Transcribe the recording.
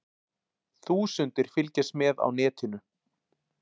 Þúsundir fylgjast með á netinu